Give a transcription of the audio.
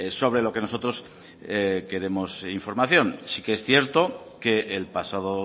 sobre lo que nosotros queremos información sí que es cierto que el pasado